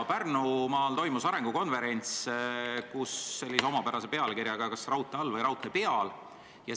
Pärnumaal toimus sellise omapärase pealkirjaga arengukonverents nagu "Kas raudtee all või raudtee peal?".